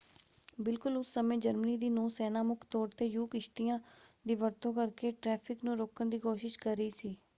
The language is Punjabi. ਬਿਲਕੁਲ ਉਸੇ ਸਮੇਂ ਜਰਮਨੀ ਦੀ ਨੌ-ਸੈਨਾ ਮੁੱਖ ਤੌਰ 'ਤੇ ਯੂ-ਕਿਸ਼ਤੀਆਂ ਦੀ ਵਰਤੋਂ ਕਰਕੇ ਟ੍ਰੈਫਿਕ ਨੂੰ ਰੋਕਣ ਦੀ ਕੋਸ਼ਿਸ਼ ਕਰ ਰਹੀ ਸੀ।